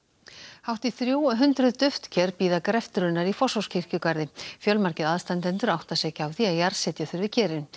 hátt í þrjú hundruð duftker bíða greftrunar í Fossvogskirkjugarði fjölmargir aðstandendur átta sig ekki á því að jarðsetja þurfi kerin